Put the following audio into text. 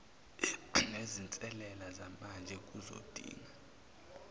nezinselele zamanje kuzodinga